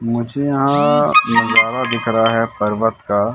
मुझे यहां नजारा दिख रहा है पर्वत का।